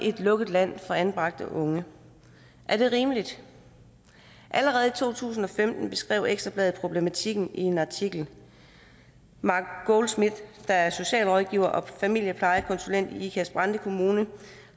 lukket land for anbragte unge er det rimeligt allerede i to tusind og femten beskrev ekstra bladet problematikken i en artikel mark goldsmith der er socialrådgiver og familieplejekonsulent i ikast brande kommune